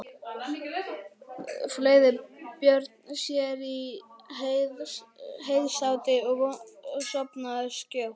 Fleygði Björn sér í heysátu og sofnaði skjótt.